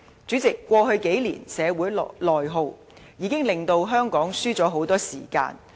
主席，過去數年的社會內耗，已令香港失去了很多時間。